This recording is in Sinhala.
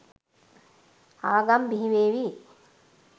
ආගම් බිහි වේවී